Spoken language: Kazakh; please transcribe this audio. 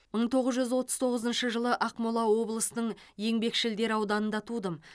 мың тоғыз жүз отыз тоғызыншы жылы ақмола облысының еңбекшілдер ауданында тудым